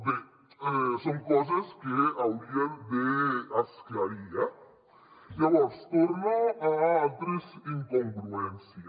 bé són coses que haurien d’esclarir eh llavors torno a altres incongruències